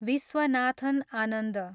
Viswanathan Anand